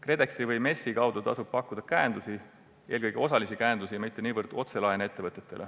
KredExi või MES-i kaudu tasub ettevõtetele pakkuda käendusi, eelkõige osalisi käendusi, mitte niivõrd otselaene.